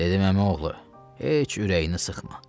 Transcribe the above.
Dedim: "Əmioğlu, heç ürəyini sıxma.